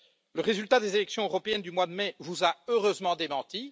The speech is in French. Le résultat des élections européennes du mois de mai vous a heureusement démenti.